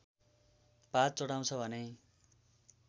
पात चढाउँछ भने